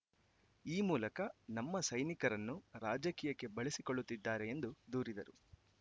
ಈ ಮೂಲಕ ನಮ್ಮ ಸೈನಿಕರನ್ನು ರಾಜಕೀಯಕ್ಕೆ ಬಳಸಿಕೊಳ್ಳುತ್ತಿದ್ದಾರೆ ಎಂದು ದೂರಿದರು